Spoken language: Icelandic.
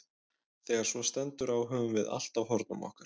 Þegar svo stendur á höfum við allt á hornum okkar.